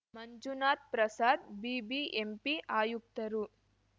Manjunath Prasad BBMP ಆಯುಕ್ತರು